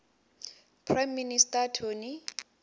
prime minister tony